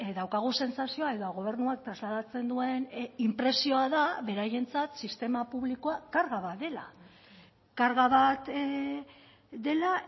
daukagu sentsazioa edo gobernuak trasladatzen duen inpresioa da beraientzat sistema publikoa karga bat dela karga bat dela